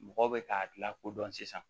Mɔgɔ bɛ k'a la kodɔn sisan